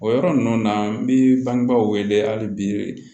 O yɔrɔ ninnu na n bɛ bangebaaw wele hali bi